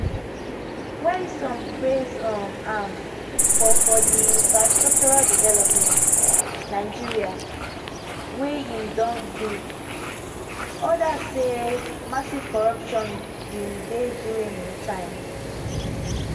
while some praise um am for for di infrastructural development nigeria wey im do odas say massive corruption bin dey during im time